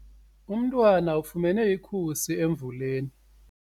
Umntwana ufumene ikhusi emvuleni.